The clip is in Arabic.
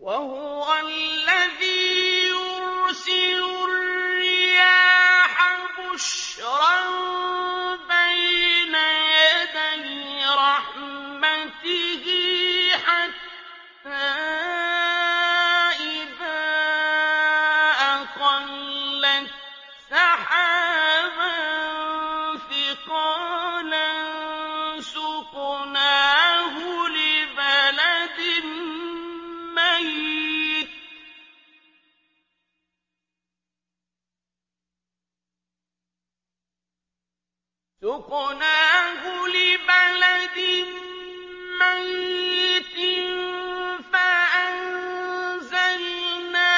وَهُوَ الَّذِي يُرْسِلُ الرِّيَاحَ بُشْرًا بَيْنَ يَدَيْ رَحْمَتِهِ ۖ حَتَّىٰ إِذَا أَقَلَّتْ سَحَابًا ثِقَالًا سُقْنَاهُ لِبَلَدٍ مَّيِّتٍ فَأَنزَلْنَا